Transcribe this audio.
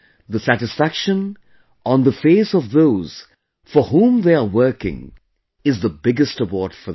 The satisfaction on the face of those for whom they are working is the biggest award for them